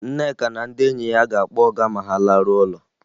Nneka na ndị enyi ya ga-akpọ ọga ma ha laruo ụlọ